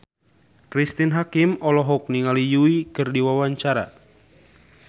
Cristine Hakim olohok ningali Yui keur diwawancara